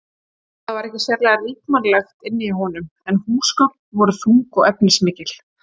Það var ekki sérlega ríkmannlegt inni hjá honum en húsgögn voru þung og efnismikil.